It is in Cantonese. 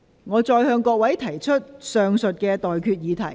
我現在向各位提出上述待決議題。